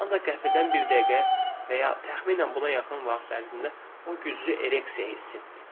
Ancaq qəfildən bir dəqiqə və ya təxminən buna yaxın vaxt ərzində o güclü ereksiya hiss etdi.